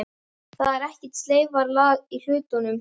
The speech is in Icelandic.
Þar er ekkert sleifarlag á hlutunum.